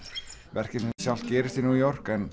verkið sjálft gerist í New York en